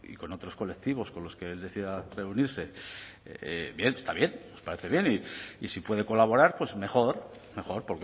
con otros colectivos con los que él decida reunirse bien está bien nos parece bien y si puede colaborar mejor mejor